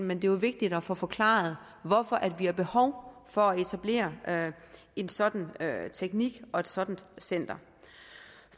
men det er jo vigtigt at få forklaret hvorfor vi har behov for at etablere en sådan teknik og et sådant center